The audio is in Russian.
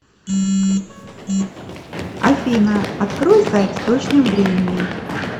афина открой сайт с точным временем